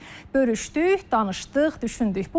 Bölüşdük, danışdıq, düşündük.